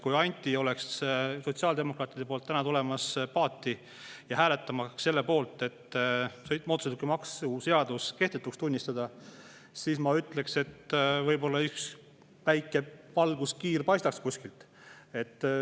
Kui Anti oleks valmis sotsiaaldemokraatide poolt täna paati tulema ja hääletama selle poolt, et mootorsõidukimaks kehtetuks tunnistada, siis ma ütleksin, et võib-olla üks väike valguskiir paistab.